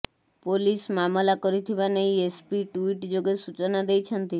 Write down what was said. police ମାମଲା କରିଥିବା ନେଇ ଏସ୍ପି ଟୁଇଟି ଯୋଗେ ସୂଚନା ଦେଇଛନ୍ତି